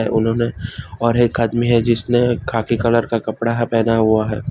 उन्होंने और एक आदमी है जिसने खाकी कलर का कपड़ा है पहना हुआ है।